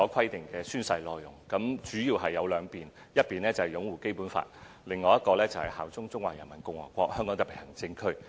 有關的宣誓內容主要涉及兩方面，一方面是擁護《基本法》，另一方面是效忠中華人民共和國香港特別行政區。